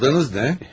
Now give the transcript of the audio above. Adınız nə?